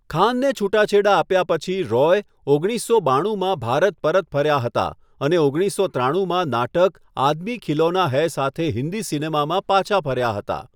ખાનને છૂટાછેડા આપ્યા પછી રોય ઓગણીસો બાણુંમાં ભારત પરત ફર્યા હતા અને ઓગણીસો ત્રાણુમાં નાટક 'આદમી ખિલોના હૈ' સાથે હિન્દી સિનેમામાં પાછા ફર્યા હતા.